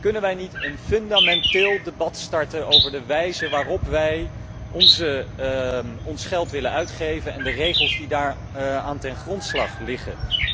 Kunnen wij niet een fundamenteel debat starten over de wijze waarop wij ons geld willen uitgeven en de regels die daaraan ten grondslag liggen?